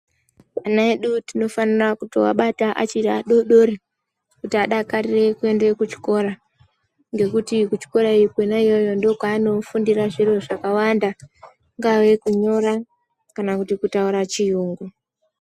Ana edu tinofanira kuvabata vachiri vadodori kuti adakarire kuenda kuchikora ngekuti kuchikora Kona iyoyo ndiki kwanofundira zviro zvakawanda kungave kunyora kana Kutaura chirungu.